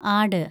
ആട്